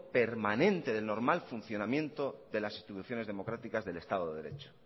permanente del normal funcionamiento de las instituciones democráticas del estado de derecho